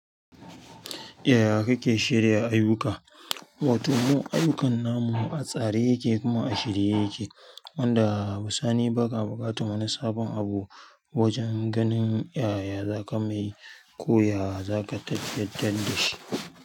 Yaya kake shirya ayyuka? Wato mu ayyukan namu a tsare yake kuma a shirye yake, wanda bi sani ba ka buƙatu wani sabon abu, wajan ganin yaya zaka me, koya zaka tattantan da shi.